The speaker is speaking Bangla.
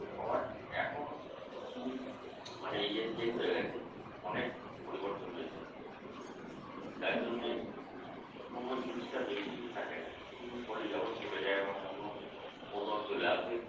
আবার এখন কিছু কিছু মানে ইয়ে Change হয়ে গেছে, অনেক পরিবর্তন হয়েছে। যার জন্যে কোনো জিনিসটা বেশিদিন থাকে না। কিছুদিন পরেই আবার চলে যায় আবার অন্য মৌসুম চলে আসে।